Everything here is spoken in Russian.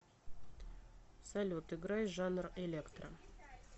салют играй жанр электро